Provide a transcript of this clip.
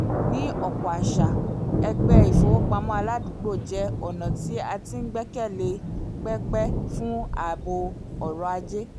ní ọ̀pọ̀ àṣà ẹgbẹ́ ìfowópamọ́ aládùúgbò jẹ́ ọ̀nà tí a ti gbẹ̀kẹ̀lé pẹ́pẹ́ fún ààbò ọrọ̀ ajé